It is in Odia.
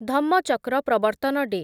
ଧମ୍ମଚକ୍ର ପ୍ରବର୍ତ୍ତନ ଡେ